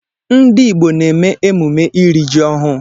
Ndi Igbo na-eme emume iri ji ọhụụ